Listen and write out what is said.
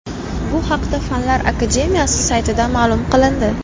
Bu haqda Fanlar akademiyasi saytida ma’lum qilindi .